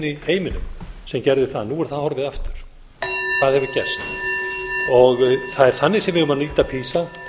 í heiminum sem gerðu það nú er það horfið aftur það hefur gerst það er þannig sem við eigum að nýta pisa